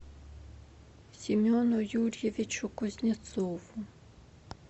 семену юрьевичу кузнецову